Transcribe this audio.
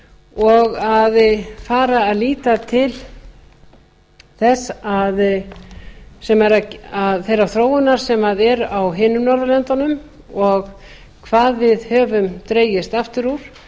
og að fara að líta til þeirrar þróunar sem er á hinum norðurlöndunum og hvað við höfum dregist aftur úr